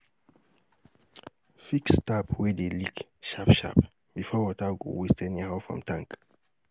fix tap wey dey leak sharp sharp bifor water go waste anyhow from tank